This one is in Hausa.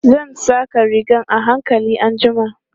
Zan saƙa rigan a hankali anjima.